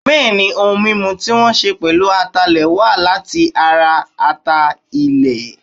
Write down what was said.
Bẹ́ẹ̀ ni, ohun mímu tí wọ́n ṣẹ pèlú ataalẹ̀ wa láti ara ata-ilẹ̀.